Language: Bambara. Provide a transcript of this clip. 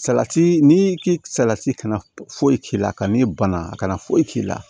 Salati n'i salati kana foyi k'i la ka n'i ban a kana foyi k'i la